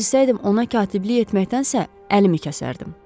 Əgər bilsəydim ona katiblik etməkdənsə əlimi kəsərdim.